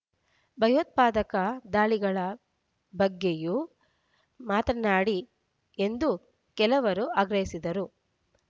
ಭಯೋತ್ಪಾದಕ ದಾಳಿಗಳ ಬಗ್ಗೆಯೂ ಮಾತನಾಡಿ ಎಂದು ಕೆಲವರು ಆಗ್ರಹಿಸಿದರು